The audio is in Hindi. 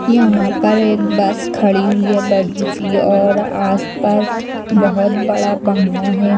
यहाँ पर एक बस खड़ी हुई है बड़ी सी और आस पास बहुत बड़ा बंगला है।